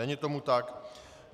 Není tomu tak.